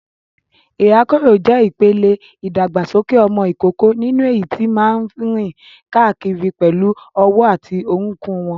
Ìrákòrò jẹ́ ìpele ìdàgbàsókè ọmọ ìkókó nínú èyí tí máa ń rìn káàkiri pẹ̀lú ọwọ́ àti orúnkún wọn.